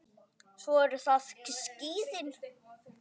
Svo eru það skíðin.